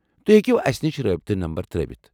تُہۍ ہیكِو اسہِ نِش رٲبطہٕ نمبر ترٲوِتھ ۔